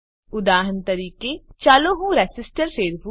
ઉદાહરણ તરીકે ચાલો હું રેસીસ્ટર ફેરવું